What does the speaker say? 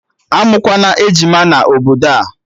Amụkwana ejima na obodo a!